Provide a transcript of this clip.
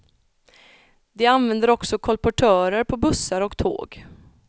De använder också kolportörer på bussar och tåg.